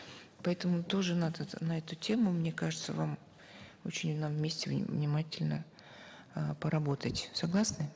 поэтому тоже надо на эту тему мне кажется вам очень нам вместе внимательно э поработать согласны